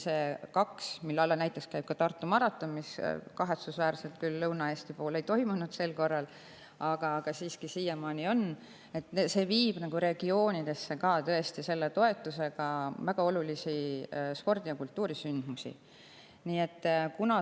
See teine, mille alla käib ka Tartu maraton, mis kahetsusväärselt sel korral küll Lõuna-Eestis ei toimunud, aitab ka regioonidesse viia väga olulisi spordi‑ ja kultuurisündmusi.